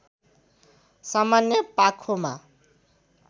सामान्य पाखोमा